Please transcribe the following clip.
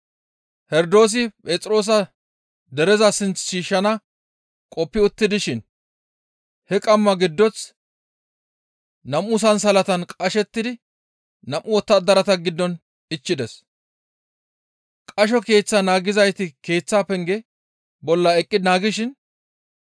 Herdoosi Phexroosa dereza sinth shiishshana qoppi utti dishin he qamma giddoth nam7u sansalatan qashettidi nam7u wottadarata giddon ichchides; qasho keeththa naagizayti keeththaa penge bolla eqqi naagishin,